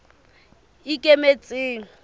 ikemetseng